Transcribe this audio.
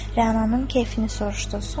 Rənanın kefini soruşdu.